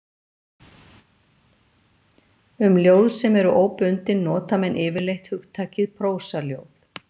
Um ljóð sem eru óbundin nota menn yfirleitt hugtakið prósaljóð.